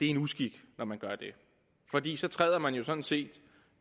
en uskik når man gør det fordi så træder man jo sådan set